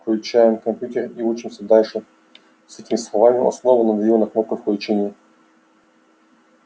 включаем компьютер и учимся дальше с этими словами он снова надавил на кнопку включения